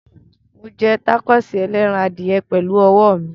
Mo jẹ tákóòsì ẹlẹ́ran adìyẹ pẹ̀lú ọwọ́ mi.